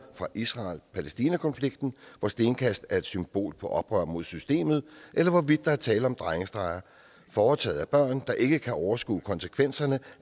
fra israel palæstina konflikten hvor stenkast er et symbol på oprør mod systemet eller hvorvidt der er tale om drengestreger foretaget af børn der ikke kan overskue konsekvenserne